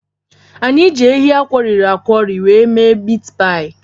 Anyị ji anụ ehi akworiri akwori were mee mit paị.